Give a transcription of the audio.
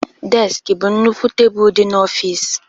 Deski bụ nnukwu tebụl dị n'ọfịs